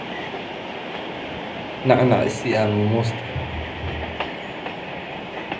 Nacnac isii aan mumuste.